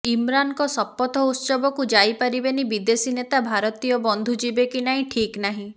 ଇମ୍ରାନ୍ଙ୍କ ଶପଥ ଉତ୍ସବକୁ ଯାଇ ପାରିବେନି ବିଦେଶୀ ନେତା ଭାରତୀୟ ବନ୍ଧୁ ଯିବେ କି ନାହିଁ ଠିକ୍ ନାହିଁ